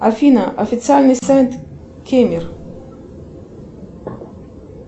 афина официальный сайт кемер